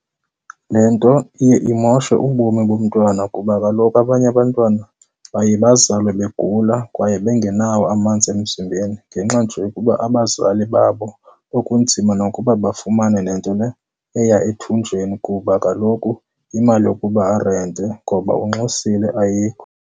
Le nto iye imoshe ubomi bomntwana kuba kaloku abanye abantwana baye bazalwe begula kwaye bengenawo amanzi emzimbeni ngenxa nje yokuba abazali babo kwakunzima nokuba bafumane nento le eya ethunjini kuba kaloku imali yokuba arente ngoba unxusile ayikho.